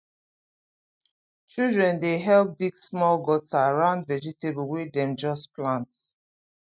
children dey help dig small gutter round vegetable wey dem just plant